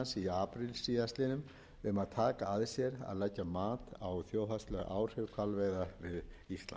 apríl síðastliðnum um að taka að sér að leggja mat á þjóðhagsleg áhrif hvalveiða við ísland í